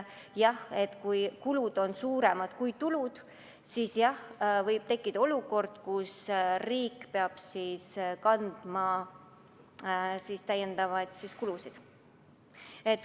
Jah, kui kulud on suuremad kui tulud, siis võib tekkida olukord, kus riik peab kandma täiendavaid kulusid.